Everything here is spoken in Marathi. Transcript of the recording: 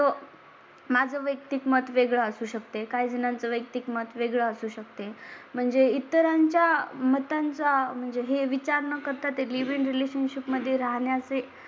माझं वैयक्तिक मत वेगळं असू शकते. काही जणांच्या वैयक्तिक मत वेगळं असू शकते. म्हणजे इतरांच्या मतांचा म्हणजे हे विचार न करता ते लिव्ह इन रिलेशनशिप मध्ये राहण्या चे